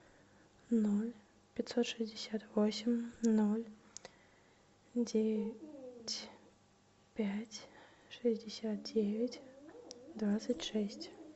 ноль пятьсот шестьдесят восемь ноль девять пять шестьдесят девять двадцать шесть